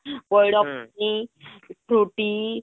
ହଁ ପଇଡ ପିଂ frooty